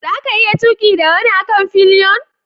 Za ka iya tuki da wani a kan fillion?